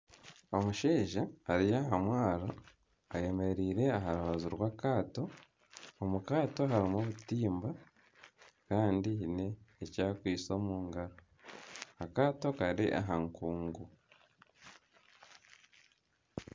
Omushaija ari aha mwaaro ayemereire aha rubaju rw'akaato, omu kaato harimu obutimba kandi haine eki akwaitse omu ngaro akaato kari aha nkungu.